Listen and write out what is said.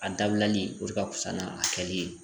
A dabilali o de ka fisa n'a kɛli ye